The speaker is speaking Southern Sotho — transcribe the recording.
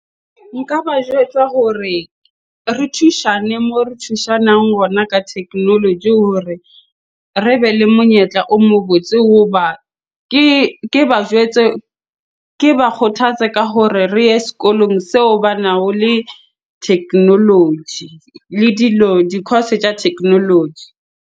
Nka ba jwetsa hore re thushane moo re thusanang gona ka technology hore re be le monyetla o mo botse. Hoba ke ba jwetse, ke ba kgothatse ka hore re ye sekolong seo bana ho le technology le dilo, di-course tsa technology.